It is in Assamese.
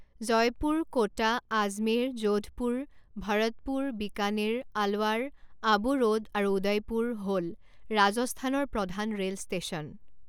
জয়পুৰ, কোটা, আজমেৰ, যোধপুৰ, ভৰতপুৰ, বিকানেৰ, আলৱাৰ, আবু ৰোড আৰু উদয়পুৰ হ'ল ৰাজস্থানৰ প্ৰধান ৰে'ল ষ্টেচন।